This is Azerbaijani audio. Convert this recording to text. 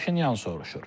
Paşinyan soruşur.